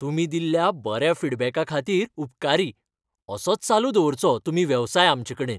तुमी दिल्ल्या बऱ्या फीडबॅका खातीर उपकारी, असोच चालू दवरचो तुमी वेवसाय आमचेकडेन.